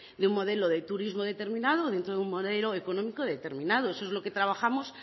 de un modelo de turismo determinado dentro de un modelo económico determinado eso es lo que trabajamos